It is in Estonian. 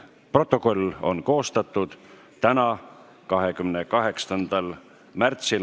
Protokoll on koostatud täna, 22. märtsil.